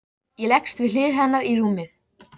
Ég skildi líka eftir kveikt inni svo hann sæist síður.